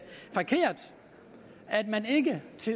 man ikke